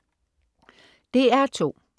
DR2: